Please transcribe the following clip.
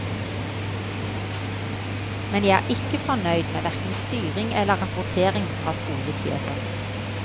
Men jeg er ikke fornøyd med hverken styring eller rapportering fra skolesjefen.